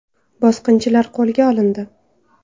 Bosqinchilar qo‘lga olindi.